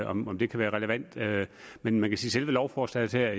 om det kan være relevant men men selve lovforslaget her